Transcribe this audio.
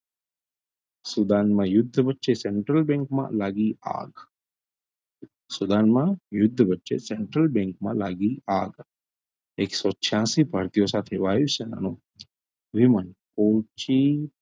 સુદાનમાં યુદ્ધ વચ્ચે central bank માં લાગી આગ સુદાનમાં યુદ્ધ વચ્ચે central bank માં લાગી આગ એકસો છ્યાશી ભારતીઓ સાથે વાયુ સેનાનું વિમાન પહોચી,